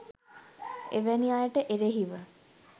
එවැනි අයට එරෙහිව